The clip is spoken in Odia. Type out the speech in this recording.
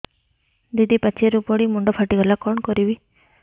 ଦିଦି ପାଚେରୀରୁ ପଡି ମୁଣ୍ଡ ଫାଟିଗଲା କଣ କରିବି